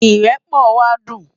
Irèpò wá dún